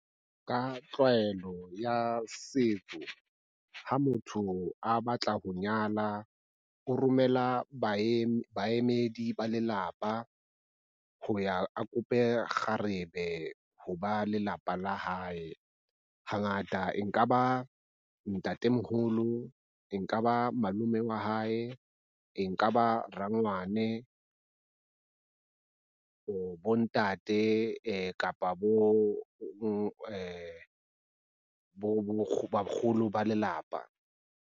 Ka tlwaelo ya setso, ha motho a batla ho nyala, o romela baemedi ba lelapa ho ya a kope kgarebe ho ba lelapa la hae. Hangata e nka ba ntatemoholo, e nka ba malome wa hae, e nka ba rangwane bo ntate kapa bakgolo ba lelapa.